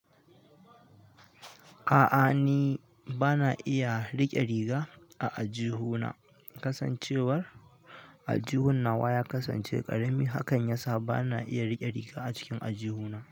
A'a ni bana iya riƙe riga a aljihu na. Kasancewar aljihun nawa ya kasance ƙarami hakan yasa bana iya riƙe riga a cikin aljihuna.